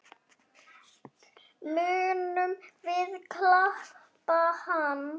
Munum við kaupa hann?